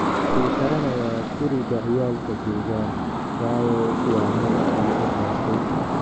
Uu karanaya kuriga ciyalka joogan wayo wa meshi ookatey.